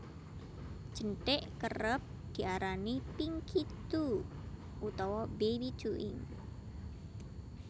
Jenthik Kerep diarani Pinky toe utawa Baby toe ing